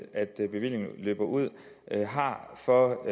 at bevillingen løber ud for